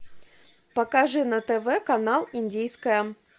покажи на тв канал индийское